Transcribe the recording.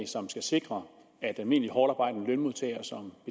som skal sikre at almindelige hårdtarbejdende lønmodtagere som